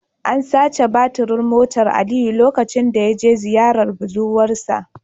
An sace batirin motar Aliyu lokacin da ya je ziyarar budurwar sa